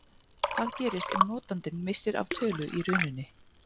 Hvað gerist ef notandinn missir af tölu í rununni?